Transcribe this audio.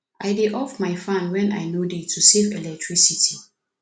i dey off my fan when i no dey room to save electricity